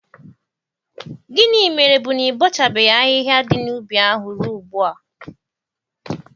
Gịnị mere bụ na ị bọchabeghị ahihia dị n'ubi ahụ ruo ugbu a?